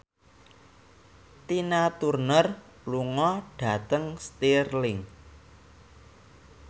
Tina Turner lunga dhateng Stirling